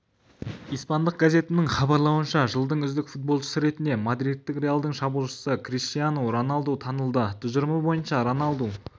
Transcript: испандық газетінің хабарлауынша жылдың үздік футболшысы ретінде мадридтік реалдың шабуылшысы криштинау роналду танылды тұжырымы бойынша роналду